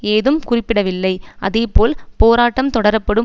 ஏதும் குறிப்பிடவில்லை அதேபோல் போராட்டம் தொடரப்படும்